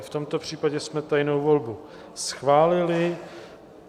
I v tomto případě jsme tajnou volbu schválili.